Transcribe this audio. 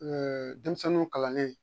denmisɛnninw kalannen